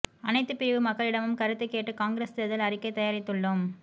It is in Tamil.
அனைத்து பிரிவு மக்களிடமும் கருத்து கேட்டு காங்கிரஸ் தேர்தல் அறிக்கை தயாரித்துள்ளோம்